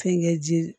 Fɛnkɛ ji